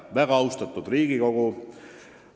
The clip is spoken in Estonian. Väga austatud Riigikogu!